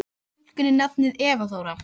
Við gáfum stúlkunni nafnið Eva Þóra.